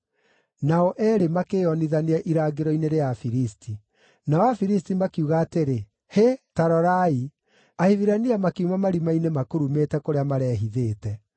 Nao eerĩ makĩĩonithania irangĩro-inĩ rĩa Afilisti. Nao Afilisti makiuga atĩrĩ, “Hĩ, ta rorai! Ahibirania makiuma marima-inĩ makurumĩte kũrĩa marehithĩte.”